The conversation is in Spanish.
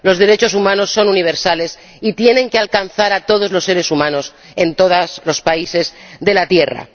Los derechos humanos son universales y tienen que alcanzar a todos los seres humanos, en todos los países de la Tierra.